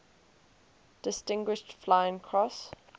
distinguished flying cross